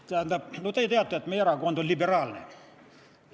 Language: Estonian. Te teate, et meie erakond on liberaalne.